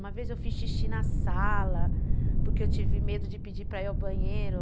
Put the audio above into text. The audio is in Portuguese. Uma vez eu fiz xixi na sala, porque eu tive medo de pedir para ir ao banheiro.